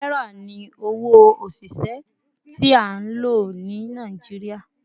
Naira ni owo osise ti a lo ni Naijiria